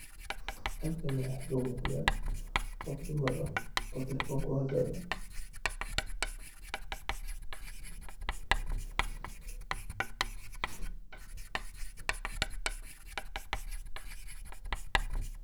Halkani waxa igamugda gof dumar eh oo talephone kuxadlayo.